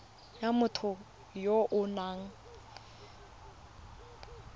ya motho ya o nang